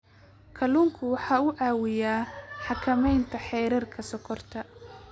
Kalluunku waxa uu caawiyaa xakamaynta heerarka sonkorta.